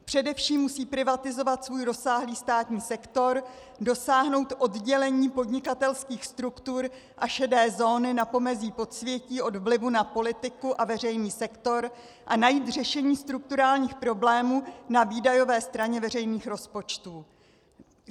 Především musí privatizovat svůj rozsáhlý státní sektor, dosáhnout oddělení podnikatelských struktur a šedé zóny na pomezí podsvětí od vlivu na politiku a veřejný sektor a najít řešení strukturálních problémů na výdajové straně veřejných rozpočtů.